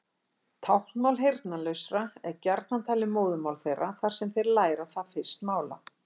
Táknmál heyrnarlausra er gjarnan talið móðurmál þeirra þar sem þeir læra það fyrst mála.